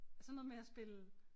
Sådan noget med at spille